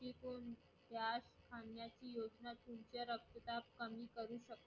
याच खाण्याची योजना तुमचे रक्तदाब कमी करू शकतो.